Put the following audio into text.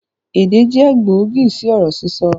Èdè jẹ gbòógì sì ọ̀rọ̀ sísọ